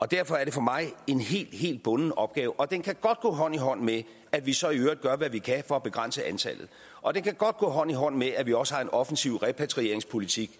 derfor er det for mig en helt helt bunden opgave og den kan godt gå hånd i hånd med at vi så i øvrigt gør hvad vi kan for at begrænse antallet og den kan godt gå hånd i hånd med at vi også har en offensiv repatrieringspolitik